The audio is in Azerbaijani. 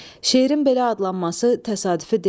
Şeirin belə adlanması təsadüfi deyil.